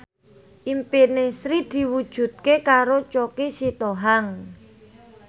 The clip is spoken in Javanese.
impine Sri diwujudke karo Choky Sitohang